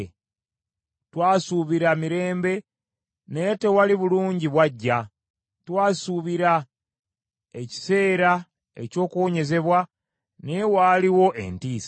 Twasuubira mirembe naye tewali bulungi bwajja; twasuubira ekiseera eky’okuwonyezebwa naye waaliwo ntiisa.